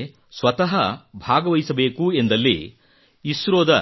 ನಿಮಗೆ ಸ್ವತಃ ಭಾಗವಹಿಸಬೇಕೆಂದಲ್ಲಿ ಇಸ್ರೋದ